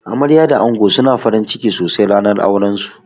Amarya da ango suna farinciki sosai ranar auran su.